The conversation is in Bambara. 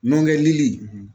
Nɔkɛ lili